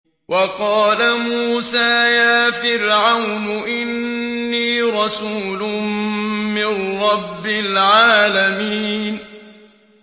وَقَالَ مُوسَىٰ يَا فِرْعَوْنُ إِنِّي رَسُولٌ مِّن رَّبِّ الْعَالَمِينَ